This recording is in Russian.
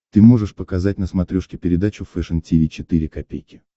ты можешь показать на смотрешке передачу фэшн ти ви четыре ка